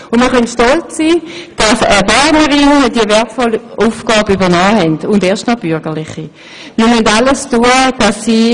Und wir können stolz sein, dass eine Bernerin – und erst noch eine bürgerliche – diese Aufgabe übernommen hat.